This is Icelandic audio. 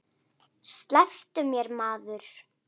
Slepptu mér maður.